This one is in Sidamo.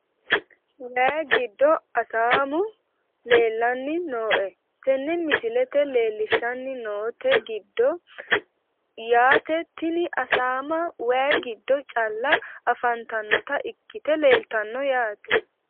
Wayi giddo asaamu leelaani nooe tene misilete leelishani noote giddo yaate tini asaamaa wayyi giddo calla afantanota ikite leeltano yate.